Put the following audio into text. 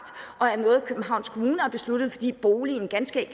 og er noget københavns kommune har besluttet fordi boligen ganske